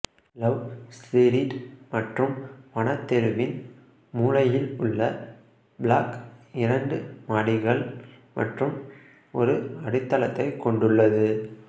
love Street மற்றும் வன தெருவின் மூலையில் உள்ள பிளாக் இரண்டு மாடிகள் மற்றும் ஒரு அடித்தளத்தைக் கொண்டுள்ளது